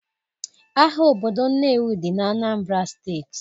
Ahịa obodo Nnewi dị na Anambra steeti